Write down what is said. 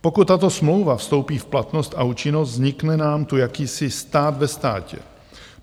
Pokud tato smlouva vstoupí v platnost a účinnost, vznikne nám tu jakýsi stát ve státě.